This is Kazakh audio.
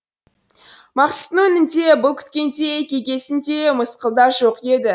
мақсұттың өңінде бұл күткендей кекесін де мысқыл да жоқ еді